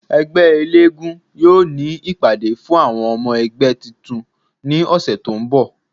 Ẹgbẹ elégún yoo ni ipade fun awọn ọmọ ẹgbẹ tuntun ni ọsẹ to n bọ